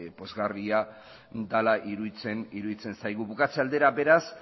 pozgarria dela iruditzen zaigu bukatze aldera beraz